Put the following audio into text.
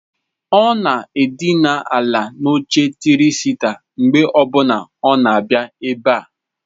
Ọ na-edina ala n'oche tịrị sita mgbe ọbuna ọ na-abịa ebe a.